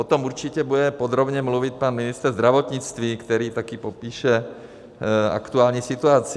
O tom určitě bude podrobně mluvit pan ministr zdravotnictví, který taky popíše aktuální situaci.